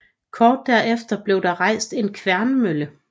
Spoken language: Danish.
Kort derefter blev der rejst en kværnmølle